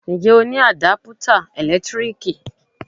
Ǹjẹ́ o ní Àdápútà ẹ̀lẹ́tíríkì?